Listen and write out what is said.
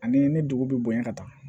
Ani ni dugu bɛ bonya ka taa